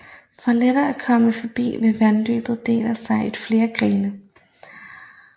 For lettere at komme forbi vil vandløbet dele sig i flere grene